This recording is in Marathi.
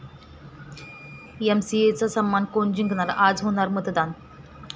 एमसीएचा सामना कोण जिंकणार?, आज होणार मतदान